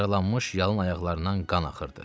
Yaralanmış yalın ayaqlarından qan axırdı.